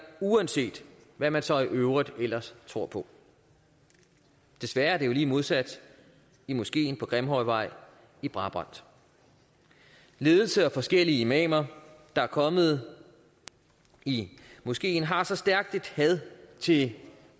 uanset hvad man så i øvrigt ellers tror på desværre er det jo lige modsat i moskeen på grimhøjvej i brabrand ledelsen og forskellige imamer der er kommet i moskeen har så stærkt et had til